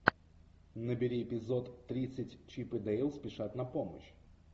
набери эпизод тридцать чип и дейл спешат на помощь